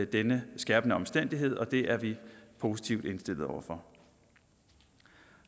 denne skærpende omstændighed og det er vi positivt indstillet over for